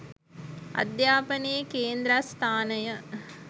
අධ්‍යාපනයේ කේන්ද්‍රස්ථානය